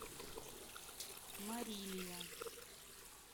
марилия